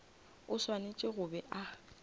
o swanetše go be a